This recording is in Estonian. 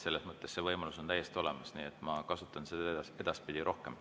Selles mõttes on see võimalus täiesti olemas ja ma kasutan seda edaspidi rohkem.